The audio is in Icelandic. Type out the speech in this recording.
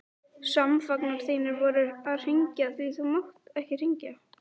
Samfangar þínir voru að hringja, því þú mátt ekki hringja.